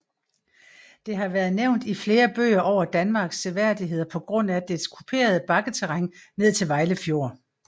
Det har været nævnt i flere bøger over Danmarks seværdigheder på grund af dets kuperede bakketerræn ned til Vejle Fjord